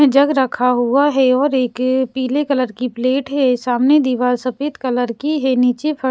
जग रखा हुआ है और एक पीले कलर की प्लेट है सामने दीवार सफेद कलर की है नीचे फ--